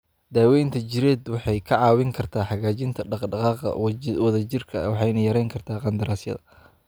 Daaweynta jireed waxay kaa caawin kartaa hagaajinta dhaqdhaqaaqa wadajirka ah waxayna yareyn kartaa qandaraasyada.